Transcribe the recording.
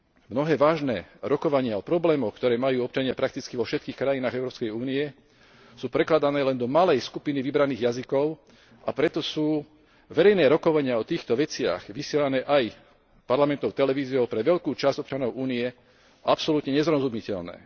Mnohé vážne rokovania o problémoch, ktoré majú občania prakticky vo všetkých krajinách Európskej únie, sú prekladané len do malej skupiny vybraných jazykov, a preto sú verejné rokovania o týchto veciach vysielané aj parlamentnou televíziou pre veľkú časť občanov Únie absolútne nezrozumiteľné.